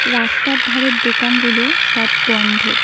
রাস্তার ধারের দোকানগুলো সব বন্ধ।